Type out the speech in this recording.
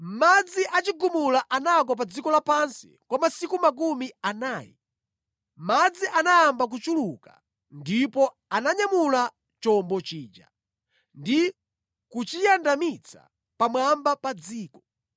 Chigumula chinagwa pa dziko la pansi kwa masiku makumi anayi. Madzi anayamba kuchuluka ndipo ananyamula chombo chija ndi kuchiyandamitsa pamwamba pa dziko.